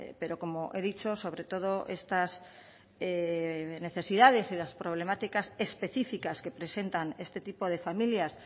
pero como he dicho sobre todo estas necesidades y las problemáticas específicas que presentan este tipo de familias